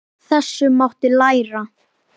Af þessu mátti læra.